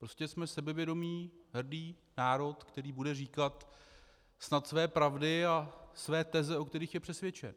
Prostě jsme sebevědomý hrdý národ, který bude říkat snad své pravdy a své teze, o kterých je přesvědčen.